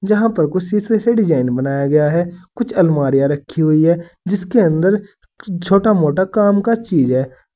यहां पर कुछ शीशे से डिजाइन बनाया गया है कुछ अलमारियां रखी हुई है जिसके अंदर छोटा मोटा काम का चीज है जी--